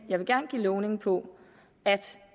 jeg vil gerne give lovning på at